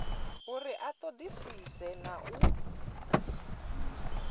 uri a ṱoḓisise na u